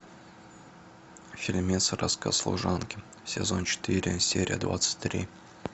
фильмец рассказ служанки сезон четыре серия двадцать три